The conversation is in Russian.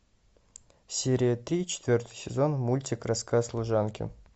серия три четвертый сезон мультик рассказ служанки